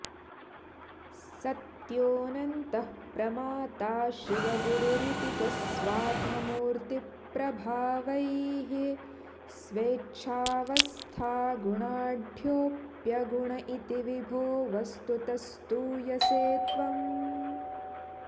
सत्योऽनन्तः प्रमाता शिवगुरुरिति च स्वात्ममूर्तिप्रभावैः स्वेच्छावस्थागुणाढ्योऽप्यगुण इति विभो वस्तुतः स्तूयसे त्वम्